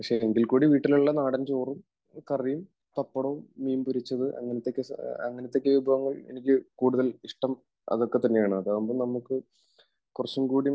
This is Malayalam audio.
പക്ഷേ എങ്കിൽ കൂടി വീട്ടിലുള്ള നാടൻ ചോറും കറിയും പപ്പടവും മീൻ പൊരിച്ചത് അങ്ങനത്തെയൊക്കെ വിഭവങ്ങൾ എനിക്ക് കൂടുതൽ ഇഷ്ടം അതൊക്കെ തന്നെയാണ്. അതാകുമ്പോൾ നമുക്ക് കുറച്ചും കൂടി